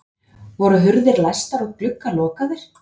Voru hurðir læstar og gluggar lokaðir?